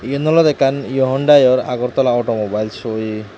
iyan olode ekkan hyundai or Agartala auto mobile show iye.